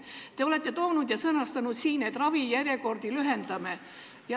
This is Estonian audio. Te olete siis sõnastanud, et tuleb ravijärjekordi lühendada.